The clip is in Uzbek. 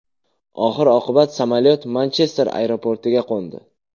Oxir-oqibat samolyot Manchester aeroportiga qo‘ndi.